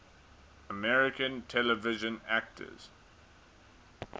american television actors